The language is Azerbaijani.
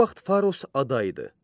O vaxt Faros ada idi.